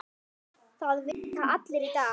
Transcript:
Það vita allir í dag.